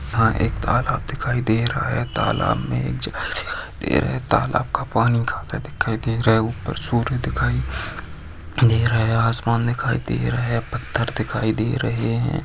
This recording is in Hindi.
यहाँ एक तालाब दिखाई दे रहा है तालाब में एक जगह दिखाई दे रही है तालाब का पानी काला दिखाई दे रहा है ऊपर सूर्य दिखाई दे रहा है आसमान दिखाई दे रहा है पत्थर दिखाई दे रहे है।